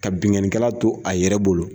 Ka binnkannikɛla to a yɛrɛ bolo